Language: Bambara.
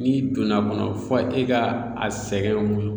N'i donn'a kɔnɔ fo e ka a sɛgɛn mun